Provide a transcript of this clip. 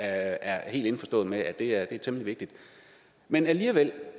er helt indforstået med er er temmelig vigtige men alligevel